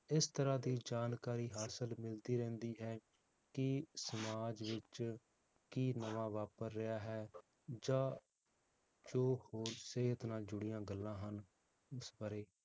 ਇਸ ਤਰਾਹ ਦੀ ਜਾਣਕਾਰੀ ਹਾਸਿਲ ਮਿਲਦੀ ਰਹਿੰਦੀ ਹੈ, ਕਿ ਸਮਾਜ ਵਿਚ ਕੀ ਨਵਾਂ ਵਾਪਰ ਰਿਹਾ ਹੈ, ਜਾਂ ਜੋ ਹੋਰ ਸਿਹਤ ਨਾਲ ਜੁੜੀਆਂ ਗੱਲਾਂ ਹਨ ਉਸ ਬਾਰੇ